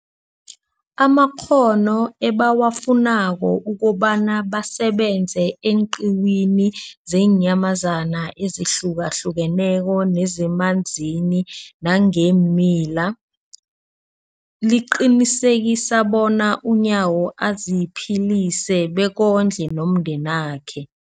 amakghono ebawafunako ukobana basebenze eenqiwini zeenyamazana ezihlukahlukeneko nezemanzini nangeemila, liqinisekisa bona uNyawo aziphilise bekondle nomndenakhe.